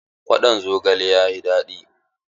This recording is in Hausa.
Kwaɗon zogalen yayi daɗi.